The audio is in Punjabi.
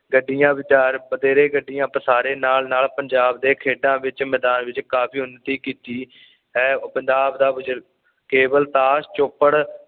ਗੱਡੀਆਂ ਵਿਚਾਰ ਬਥੇਰੇ ਗੱਡੀਆਂ ਪਸਾਰੇ ਨਾਲ ਨਾਲ ਪੰਜਾਬ ਦੇ ਖੇਡਾਂ ਵਿੱਚ ਮੈਦਾਨ ਵਿੱਚ ਕਾਫ਼ੀ ਉਨਤੀ ਕੀਤੀ ਹੈਅ ਪੰਜਾਬ ਦਾ ਬਜ਼ੁਰਗ